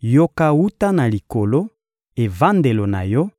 yoka wuta na Likolo, evandelo na Yo,